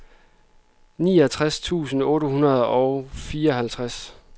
niogtres tusind otte hundrede og fireoghalvtreds